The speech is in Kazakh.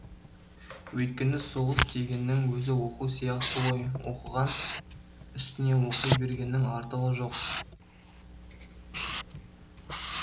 өйткені соғыс дегеннің өзі оқу сияқты ғой оқыған үстіне оқи бергеннің артығы жоқ